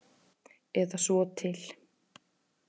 Eða svo til.